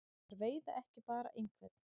Þær veiða ekki bara einhvern.